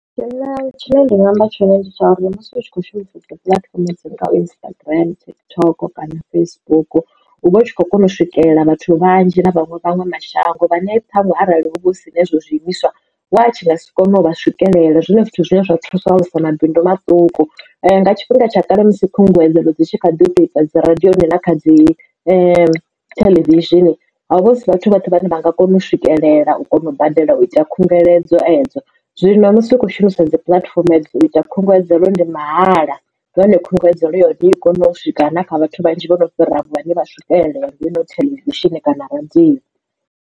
Tshine tshine nda nga amba tshone ndi tsha uri musi u tshi kho shumisesa puḽatifomo dzi Instagram dzi TikTok kana Facebook hu vha hu tshi khou kona u swikelela vhathu vhanzhi na vhaṅwe vhaṅwe mashango vhane thanwe arali ho vha hu sina hezwo zwiimiswa watshi nga si kone u swikelela zwinwe zwithu zwine zwa thusa u alusa mabindu maṱuku nga tshifhinga tsha kale musi khunguwedzelo dzi tshi kha ḓi u tea u ita dzi radioni ḽa kha dzi theḽevishini hovha husi vhathu vhoṱhe vhane vha nga kona u swikelela u badela u ita khungeledzo edzo zwino musi u khou shumisa dzi puḽatifomo edzo u ita khunguwedzelo ndi mahala nahone khunguwedzo ya hone i kone u swika na kha vhathu vhanzhi vhono fhiraho vhane vha swikelele heino theḽevishini kana radio.